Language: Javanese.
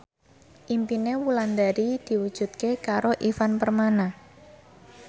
impine Wulandari diwujudke karo Ivan Permana